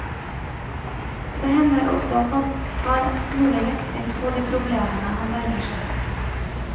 Det hender også at han tar en smule lettvint på de problemene han nærmer seg.